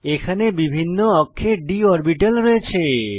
এখানে বিভিন্ন অক্ষে d অরবিটাল রয়েছে